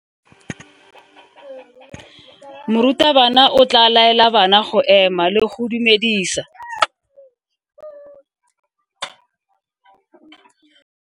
Morutabana o tla laela bana go ema le go go dumedisa.